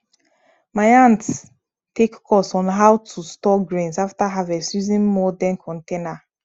my aunt take course on how to store grains after harvest using modern container